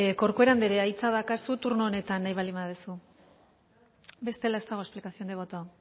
corcuera anderea hitza daukazu turno honetan nahi baldin baduzu bestela ez dago explicación de voto